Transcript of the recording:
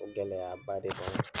O gɛlɛyaba de b'an